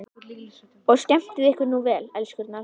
Og skemmtið ykkur nú vel, elskurnar!